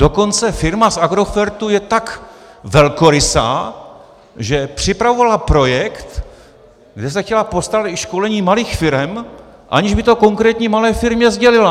Dokonce firma z Agrofertu je tak velkorysá, že připravovala projekt, kde se chtěla postarat o školení malých firem, aniž by to konkrétní malé firmě sdělila.